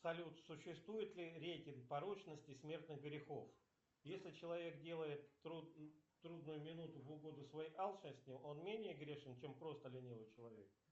салют существует ли рейтинг порочности смертных грехов если человек делает в трудную минуту в угоду своей алчности он менее грешен чем просто ленивый человек